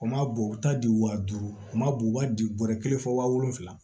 U ma bɔn u ta di wa duuru o ma bo u b'a di bɔrɔ kelen fɔ waa wolonwula